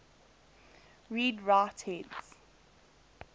read write heads